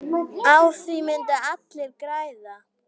Á því myndu allir græða.